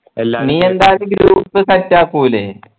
എന്തായാലും group set ആക്കൂലേ